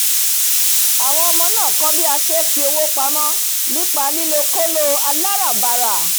àwọn ọmọ máá kọ́ bí a sé é fi owó pamọ́ nípa lílo kóló aláràbarà